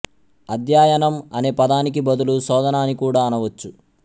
అధ్యయనం అనే పదానికి బదులు శోధన అని కూడా అనవచ్చు